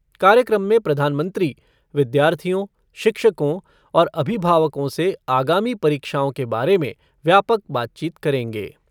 कार्यक्रम में प्रधानमंत्री विद्यार्थियों, शिक्षकों और अभिभावकों से आगामी परीक्षाओं के बारे में व्यापक बातचीत करेंगे।